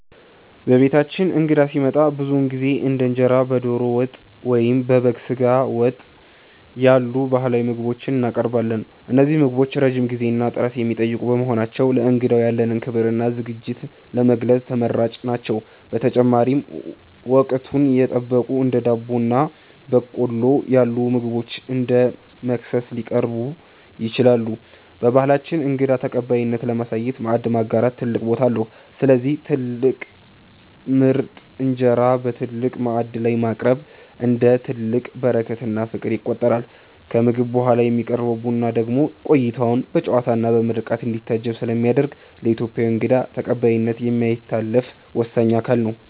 በቤታችን እንግዳ ሲመጣ ብዙውን ጊዜ እንደ እንጀራ በዶሮ ወጥ ወይም በበግ ስጋ ወጥ ያሉ ባህላዊ ምግቦችን እናቀርባለን። እነዚህ ምግቦች ረጅም ጊዜና ጥረት የሚጠይቁ በመሆናቸው፣ ለእንግዳው ያለንን ክብርና ዝግጅት ለመግለጽ ተመራጭ ናቸው። በተጨማሪም፣ ወቅቱን የጠበቁ እንደ ዳቦ ወይም በቆሎ ያሉ ምግቦች እንደ መክሰስ ሊቀርቡ ይችላሉ። በባህላችን እንግዳ ተቀባይነትን ለማሳየት "ማዕድ ማጋራት" ትልቅ ቦታ አለው፤ ስለዚህ ትልቅ ምርጥ እንጀራ በትልቅ ማዕድ ላይ ማቅረብ፣ እንደ ትልቅ በረከትና ፍቅር ይቆጠራል። ከምግብ በኋላ የሚቀርበው ቡና ደግሞ ቆይታው በጨዋታና በምርቃት እንዲታጀብ ስለሚያደርግ፣ ለኢትዮጵያዊ እንግዳ ተቀባይነት የማይታለፍ ወሳኝ አካል ነው።